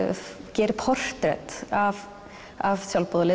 gerir portrett af af